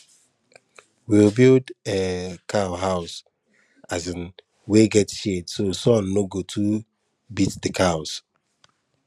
we build um cow house um wey get shade so sun no go too beat the cows